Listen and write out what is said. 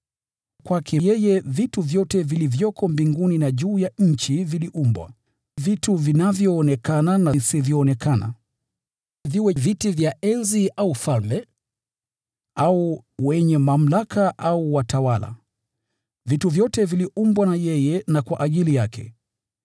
Kwake yeye vitu vyote vilivyoko mbinguni na juu ya nchi viliumbwa: vitu vinavyoonekana na visivyoonekana, viwe ni viti vya enzi au falme, au wenye mamlaka au watawala; vitu vyote viliumbwa na yeye na kwa ajili yake.